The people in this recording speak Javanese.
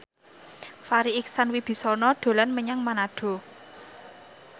Farri Icksan Wibisana dolan menyang Manado